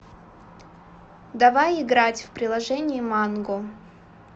давай играть в приложение манго